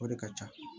O de ka ca